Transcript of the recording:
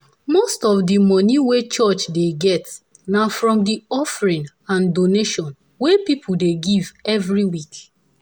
most of the money wey church dey get na from the offering and donation wey people dey give every week.